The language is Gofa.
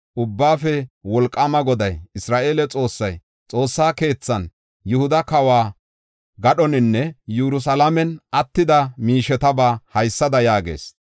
Ubbaafe Wolqaama Goday, Isra7eele Xoossay, Xoossa keethan, Yihuda kawo gadhoninne Yerusalaamen attida miishetaba haysada yaagees;